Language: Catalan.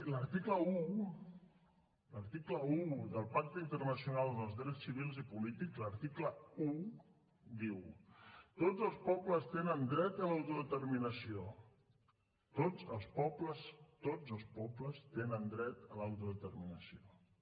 l’article un del pacte internacional dels drets civils i polítics l’article un diu tots els pobles tenen dret a l’autodeterminació tots els pobles tenen dret a l’autodeterminació